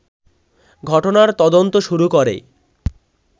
ঘটনার তদন্ত শুরু করে